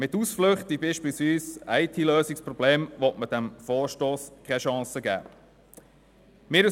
Mit Ausflüchten wie beispielsweise «IT-Lösungsproblemen» will man dem Vorstoss keine Chance geben.